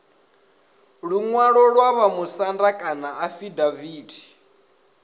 luṅwalo lwa vhamusanda kana afidaviti